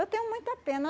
Eu tenho muita pena.